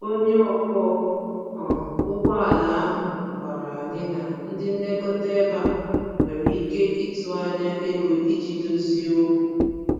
Onye ọkwọ um ụgbọala ahụ gwàrà anyị na ndị nlekọta ebe a nwere ike ịtụ anya ego iji dozie okwu